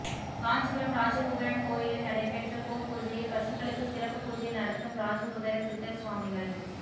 காஞ்சிபுரம் ராஜகுபேரன் கோயிலில் நடைபெற்ற கோ பூஜையில் பசுக்களுக்கு சிறப்பு பூஜை நடத்தும் ராஜ குபேர சித்தர் சுவாமிகள்